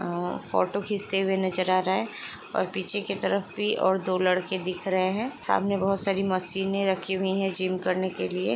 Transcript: आ- photo खींचते हुए नज़र आ रहा हैं और पीछे के तरफ भी और दो लड़के दिख रहे हैं। सामने बोहोत सारी मशीनें रखी हुई हैं जिम करने के लिये।